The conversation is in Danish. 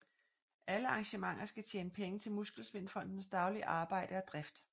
Alle arrangementer skal tjene penge til Muskelsvindfondens daglige arbejde og drift